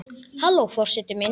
Halló forseti minn!